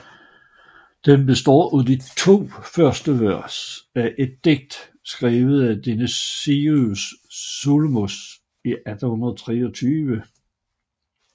Den består af de to første vers af et digt skrevet af Dionysius Solomos i 1823